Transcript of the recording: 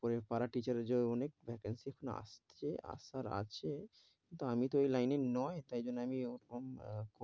করে para teacher ও অনেক vacancy আসছে, আসার আছে, কিন্তু আমি তো ওই line এ নয় তাই জন্য আমি ওরকম, আহ